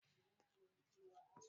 Kuna da plyova a jihar ku?